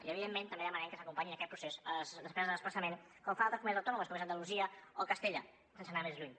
i evidentment també demanem que s’acompanyin en aquest procés les despeses de desplaçament com fan altres comunitats autònomes com són andalusia o castella sense anar més lluny